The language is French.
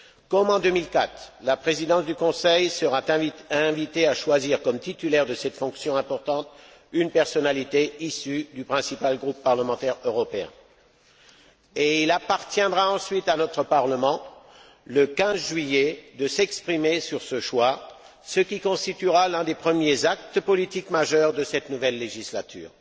Comme en 2004, la présidence du Conseil sera invitée à choisir comme titulaire de cette fonction importante une personnalité issue du principal groupe parlementaire européen et il appartiendra ensuite à notre Parlement, le 15 juillet, de s'exprimer sur ce choix, ce qui constituera l'un des premiers actes politiques majeurs de cette nouvelle législature.